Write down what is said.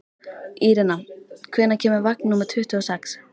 Irena, hvenær kemur vagn númer tuttugu og sex?